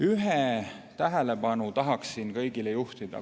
Ühele tahaksin teie kõigi tähelepanu veel juhtida.